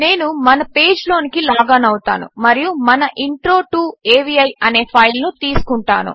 నేను మన పేజ్లోనికి లాగ్ ఆన్ అవుతాను మరియు మన ఇంట్రో టో అవి అనే ఫైల్ను తీసుకుంటాను